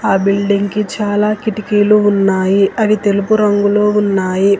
ఆ బిల్డింగ్ కి చాలా కిటికీలు ఉన్నాయి అవి తెలుగు రంగులో ఉన్నాయి.